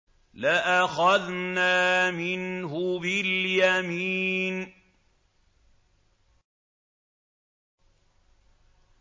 لَأَخَذْنَا مِنْهُ بِالْيَمِينِ